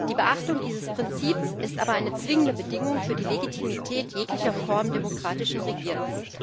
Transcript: Die Beachtung dieses Prinzips ist aber eine zwingende Bedingung für die Legitimität jeglicher Form demokratischen Regierens.